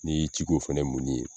N'i y'i ci k'o fana minni ye